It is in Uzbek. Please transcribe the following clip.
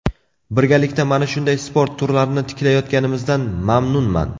Birgalikda mana shunday sport turlarini tiklayotganimizdan mamnunman.